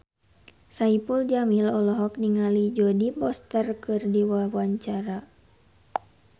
Saipul Jamil olohok ningali Jodie Foster keur diwawancara